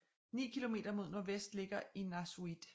Ni km mod nordvest ligger Innaarsuit